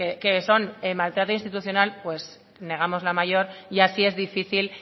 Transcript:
que son el maltrato institucional pues negamos la mayor y así es difícil